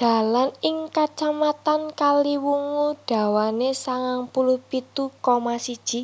Dalan ing Kacamatan Kaliwungu dawane sangang puluh pitu koma siji